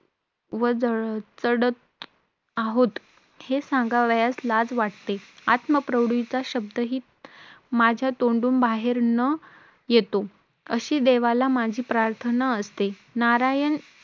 त्यांना तेव्हा आमचे एक प एक ball आणि सरांचे एकोणीस रन झाले होते. तेव्हा आम्हाला फक्त हा last ball टाकायचा होता. तेव्हा teacher आल्या.तेव्हा teacher बोलल्या मला नाही जमत cricket खेळायला